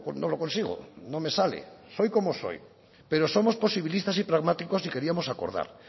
no lo consigo no me sale soy como soy pero somos posibilistas y pragmáticos y queríamos acordar